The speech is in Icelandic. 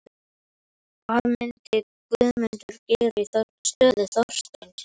Hvað myndi Guðmundur gera í stöðu Þorsteins?